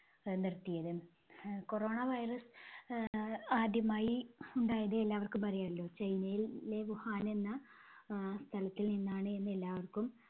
അഹ് നിർത്തിയത്. അഹ് corona virus ആഹ് ആദ്യമായി ഉണ്ടായത് എല്ലാവർക്കും അറിയാലോ ചൈനയിലെ വുഹാൻ എന്ന അഹ് സ്ഥലത്തിൽ നിന്നാണ് എന്ന് എല്ലാവർക്കും